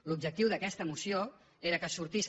l’objectiu d’aquesta moció era que sortís